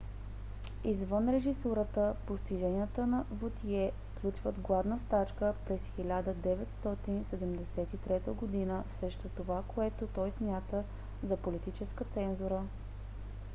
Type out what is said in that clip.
извън режисурата постиженията на вотие включват гладна стачка през 1973 г. срещу това което той смята за политическа цензура